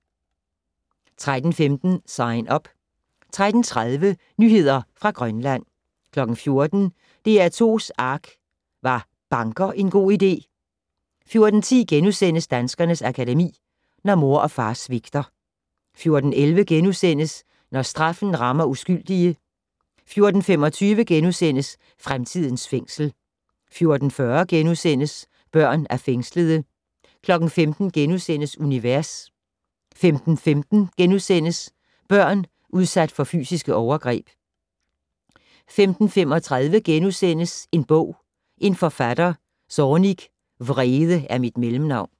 13:15: Sign Up 13:30: Nyheder fra Grønland 14:00: DR2's ARK - Var banker en god idé? 14:10: Danskernes Akademi: Når mor og far svigter * 14:11: Når straffen rammer uskyldige * 14:25: Fremtidens fængsel * 14:40: Børn af fængslede * 15:00: Univers * 15:15: Børn udsat for fysiske overgreb * 15:35: En bog - en forfatter - Zornig: Vrede er mit mellemnavn *